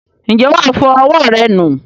ǹjẹ́ wà á fọ ọwọ́ rẹ nù?